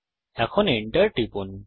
এখন Enter টিপুন